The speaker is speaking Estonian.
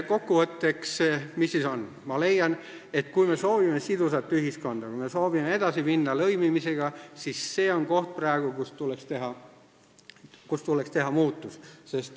Kokku võttes ma leian, et kui me soovime sidusat ühiskonda ja tahame edasi minna lõimimisega, siis see on koht, kus tuleks teha muutus.